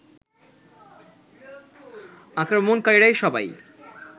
আক্রমণকারীরা সবাই